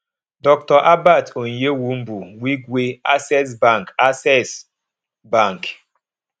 dr herbert onyewumbu wigwe access bank access bank